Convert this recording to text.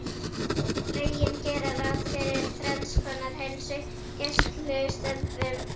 Lögin gera ráð fyrir þrenns konar heilsugæslustöðvum